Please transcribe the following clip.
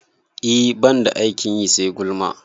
E, ban da aikin yi sai gulma